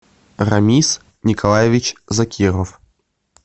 рамис николаевич закиров